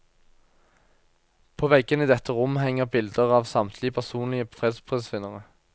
På veggene i dette rom henger bilder av samtlige personlige fredsprisvinnere.